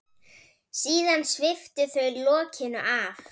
Síðan sviptu þau lokinu af.